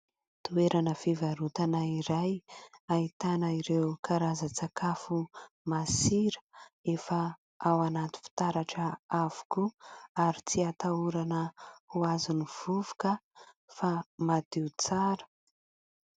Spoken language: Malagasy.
Toerana fivarotana iray, ahitana ireo karazan-tsakafo masira efa ao anaty fitaratra avokoa ary tsy hatahorana ho azon'ny vovoka fa madio tsara.